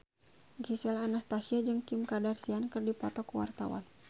Gisel Anastasia jeung Kim Kardashian keur dipoto ku wartawan